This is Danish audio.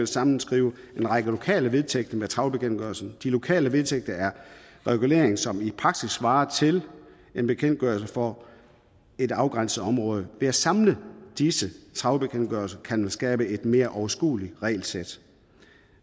sammenskrive en række lokale vedtægter med trawlbekendtgørelsen de lokale vedtægter er regulering som i praksis svarer til en bekendtgørelse for et afgrænset område ved at samle disse trawlbekendtgørelser kan man skabe et mere overskueligt regelsæt